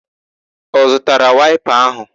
Ọ zụtara waịpa áhụ̀?